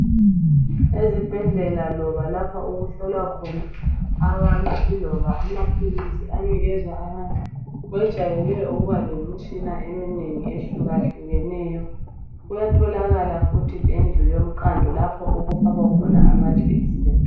Ezibhedlela loba lapha okuhlolwa khona abantu iloba amaphilisi anikezwa abantu kwejayele ukuba lemitshina ehlukahlukeneyo. Kuyabe kulendlu eqandayo lapho okufakwa khona amajekiseni.